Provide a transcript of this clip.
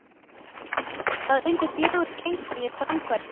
Það unnu fjögur gengi við framkvæmdirnar.